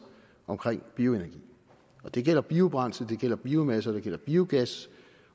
omkring bioenergi og det gælder biobrændsel det gælder biomasse og det gælder biogas